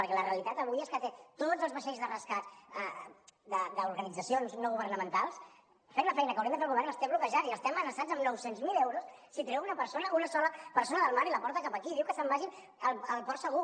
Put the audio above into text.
perquè la realitat avui és que té tots els vaixells de rescat d’organitzacions no governamentals fent la feina que hauria d’estar fent el govern els té bloquejats i els té amenaçats amb nou cents mil euros si treuen una persona una sola persona del mar i la porten cap aquí diu que se’n vagin al port segur